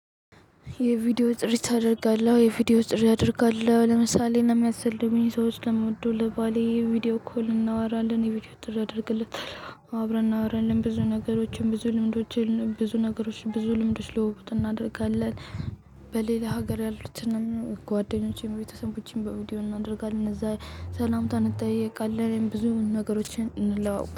የቪዲዮ ጥሪ ታደርጋለህ የቪዲዮ ጥሪ አደርጋለሁ ለምሳሌ ለሚያስፈልጉኝ ሰዎች ለምወደው ለባሌ ቪዲዮ እኮ እናወራለን ቪዲዮ ጥሪ አደርግለታለሁ አብረን እናወራለን ብዙ ነገሮችን ብዙ ልምዶችን ብዙ ነገሮችን ብዙ ልምዶችን ልውውጥ እናደርጋለን። በሌላ ሀገር ያሉትንም ጓደኞቼም ቤተሰቦቼን በቪዲዮ እናደርጋለን። እነዛ ሰላምታን እንጠይቃለን ብዙ ነገሮችን እንለዋወጣለን